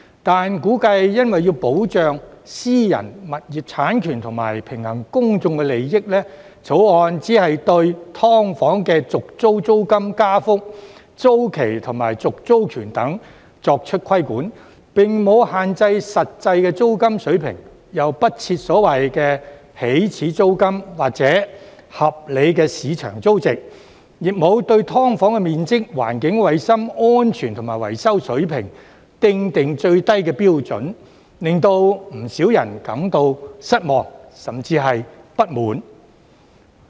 但是，估計為保障私人物業產權及平衡公眾利益，《條例草案》只監管"劏房"的續租租金加幅、租期及續租權等，並沒有限制實際租金水平，又不設所謂的"起始租金"或"合理市場租值"，亦沒有對"劏房"的面積、環境、衞生、安全及維修水平訂定最低標準，令不少人感到失望，甚至不滿。